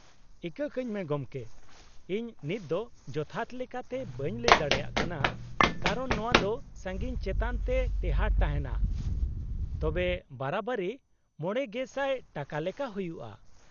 -ᱤᱠᱟᱹ ᱠᱟᱹᱧᱢᱮ ᱜᱚᱢᱠᱮ, ᱤᱧ ᱱᱤᱛᱫᱚ ᱡᱚᱛᱷᱟᱛ ᱞᱮᱠᱟᱛᱮ ᱵᱟᱹᱧ ᱞᱟᱹᱭ ᱫᱟᱲᱮᱭᱟᱜ ᱠᱟᱱᱟ ᱠᱟᱨᱚᱱ ᱱᱚᱶᱟ ᱫᱚ ᱥᱟᱺᱜᱤᱧ ᱪᱮᱛᱟᱱ ᱛᱮ ᱴᱮᱦᱟᱸᱴ ᱛᱟᱦᱮᱱᱟ, ᱛᱚᱵᱮ ᱵᱟᱨᱟᱵᱟᱨᱤ ᱕,᱐᱐᱐ ᱴᱟᱠᱟ ᱞᱮᱠᱟ ᱦᱩᱭᱩᱜᱼᱟ ᱾